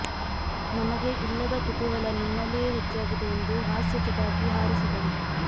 ನಮಗೆ ಇಲ್ಲದ ಕುತೂಹಲ ನಿಮ್ಮಲ್ಲಿಯೇ ಹೆಚ್ಚಾಗಿದೆ ಎಂದು ಹಾಸ್ಯ ಚಟಾಕಿ ಹಾರಿಸಿದರು